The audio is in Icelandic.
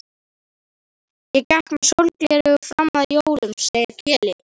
Ég gekk með sólgleraugu fram að jólum, segir Keli.